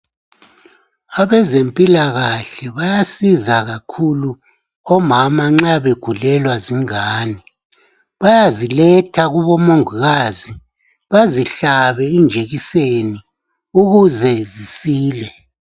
Abezempilakahle bayasiza kakhulu omama nxa begulelwa zingane. Bayaziletha kubomongikazi bazihlabe ijekiseni ukuze zisile.